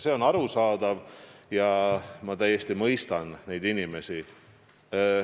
See on arusaadav ja ma täiesti mõistan neid inimesi.